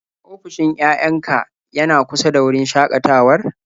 Ofishin yayan ka yana kusa da wurin shakatawar?